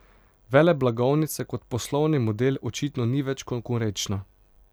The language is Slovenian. Veleblagovnica kot poslovni model očitno ni več konkurenčna.